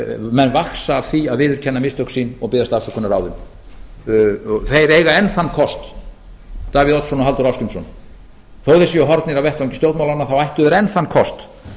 menn vaxa af því að viðurkenna mistök sín og biðjast afsökunar á þeim þeir enn þann kost davíð oddsson og halldór ásgrímsson þó þeir séu horfnir af vettvangi stjórnmálanna þá ættu þeir enn þann kost